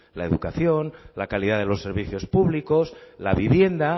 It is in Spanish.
la educación la calidad de los servicios públicos la vivienda